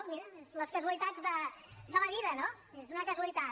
mira és les casualitats de la vida no és una casualitat